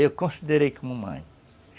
Eu considerei como mãe.